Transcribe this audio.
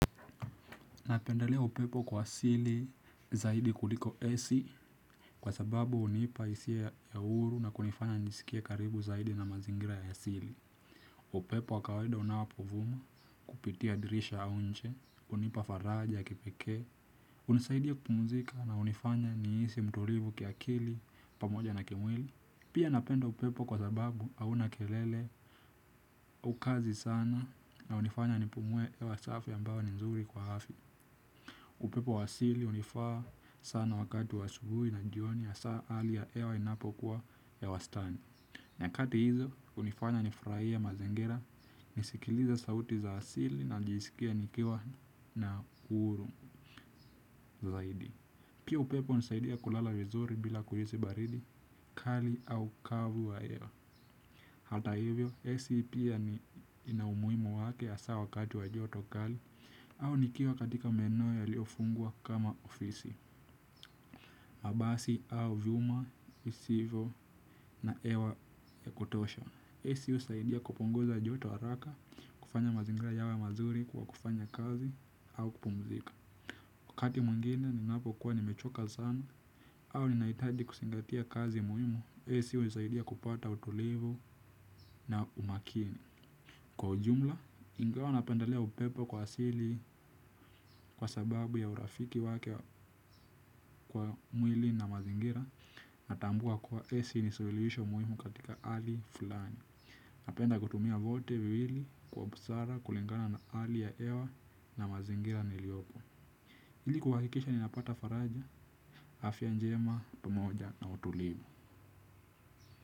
Napendelea upepo kwa asili zaidi kuliko ac. Kwa sababu unipa hisia ya huru na kunifanya nisikie karibu zaidi na mazingira ya asili. Upepo wa kawaida unapovuma kupitia dirisha au nje hunipa faraja ya kipekee. Unisaidia kupumzika na unifanya nihisi mtulivu kiakili pamoja na kimwili. Pia napenda upepo kwa sababu hauna kelele haukazi sana. Na unifanya nipumue hewa safi ambayo ni zuri kwa afya. Upepo wa asili unifaa sana wakati wa asubuhi na jioni hasaa hali ya hewa inapokuwa ya wastani. Nyakati hizo unifanya nifurahie mazingira, nisikilize sauti za asili na nijisikie nikiwa na uhuru zaidi. Pia upepo unisaidia kulala vizuri bila kuhisi baridi, kali au kavu wa hewa. Hata hivyo, AC Pia ni ina umuhimu wake hasa wakati wa joto kali au nikiwa katika maeneo yaliofungwa kama ofisi. Mabasi au viuma, visivyo na hewa ya kutosha AC husaidia kupunguza joto haraka, kufanya mazingira yawe mazuri kwa kufanya kazi au kupumzika wakati mwingine ninapokuwa nimechoka sana au ninahitaji kuzingatia kazi muhimu AC unisaidia kupata utulivu na umakini. Kwa ujumla, ingawa napendelea upepo kwa asili kwa sababu ya urafiki wake kwa mwili na mazingira. Natambua kuwa ac ni suluhisho muhimu katika hali fulani. Napenda kutumia vyote viwili kwa busara kulingana na hali ya hewa na mazingira niliopo. Hili kuhakikisha ninapata faraja, afya njema, pamoja na utulivu.